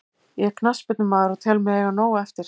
Ég er knattspyrnumaður og tel mig eiga nóg eftir.